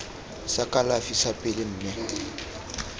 sa kalafi sa pele mme